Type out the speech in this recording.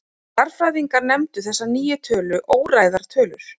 Stærðfræðingar nefndu þessar nýju tölur óræðar tölur.